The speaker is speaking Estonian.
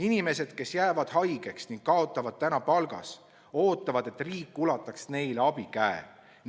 Inimesed, kes jäävad haigeks ning kaotavad palgas, ootavad, et riik ulataks neile abikäe.